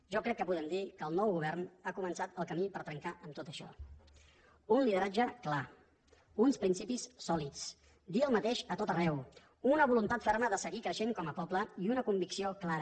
jo crec que podem dir que el nou govern ha començat el camí per trencar amb tot això un lideratge clar uns principis sòlids dir el mateix a tot arreu una voluntat ferma de seguir creixent com a poble i una convicció clara